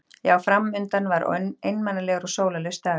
Já, fram undan var einmanalegur og sólarlaus dagur.